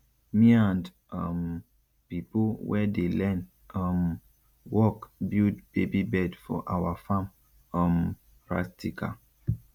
me and um pipo wey dey learn um work build baby bed for awa farm um practical